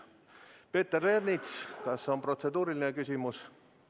Peeter Ernits, kas on protseduuriline küsimus?